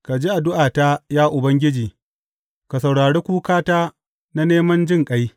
Ka ji addu’ata, ya Ubangiji; ka saurari kukata na neman jinƙai.